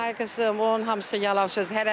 Ay qızım, onun hamısı yalan söz.